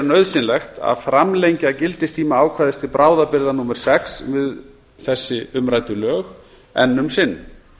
nauðsynlegt að framlengja gildistíma ákvæðis til bráðabirgða númer sex við umrædd lög enn um sinn